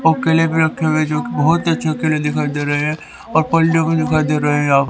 और केले भी रखे हुए है जो की बहोत ही अच्छे केले दिखाई दे रहे है दिखाई दे रहे है यहां--